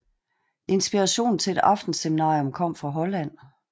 Inspirationen til et aftenseminarium kom fra Holland